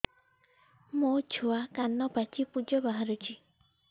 ମୋ ଛୁଆ କାନ ପାଚି ପୂଜ ବାହାରୁଚି